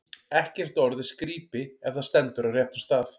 Ekkert orð er skrípi, ef það stendur á réttum stað.